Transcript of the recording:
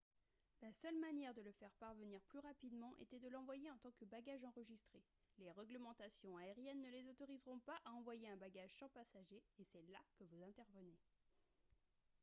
la seule manière de le faire parvenir plus rapidement était de l'envoyer en tant que bagage enregistré les réglementations aériennes ne les autoriseront pas à envoyer un bagage sans passager et c'est là que vous intervenez